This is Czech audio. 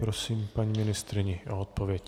Prosím paní ministryni o odpověď.